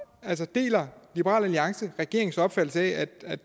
deler liberal alliance regeringens opfattelse af